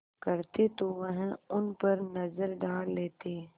करते तो वह उन पर नज़र डाल लेते